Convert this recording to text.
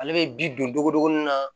Ale bɛ bi don o dugumana na